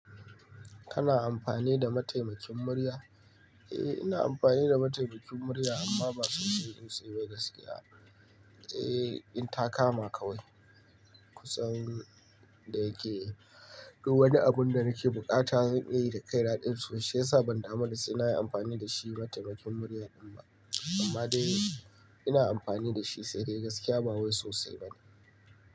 Kana amfani da mataimakin murya? Eh ina amfani da mataimakin murya amma ba sosai sosai ba gaskiya. Eh, in ta kama kawai kusan da yake. Duk wani abun da nake buƙata zan iya yi da kai na. Shiyasa ban damu da sai na yi amfani da shi mataimakin murya din ma, amma dai ina amfani da shi sai dai gaskiya ba wai sosai bane.